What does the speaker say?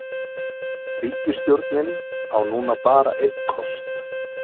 Ríkisstjórnin á núna bara einn kost